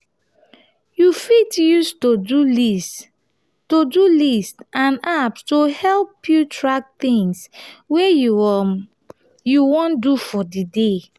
you fit use to-do-list to-do-list and apps to help you track things wey you um wan do for di day